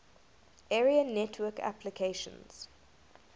area network applications